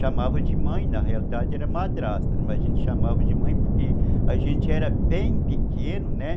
Chamava de mãe, na realidade era madrasta, mas a gente chamava de mãe porque a gente era bem pequeno, né?